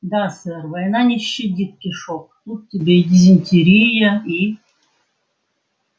да сэр война не щадит кишок тут тебе и дизентерия и